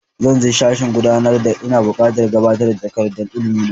Zan je sashin gudanarwa, ina buƙatar gabatar da takardar ilimi na.